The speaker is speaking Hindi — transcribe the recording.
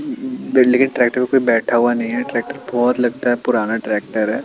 ट्रॅक्टर पे कोई बैठा हुआ नहीं है ट्रॅक्टर बहुत लगता है पुराना ट्रॅक्टर है।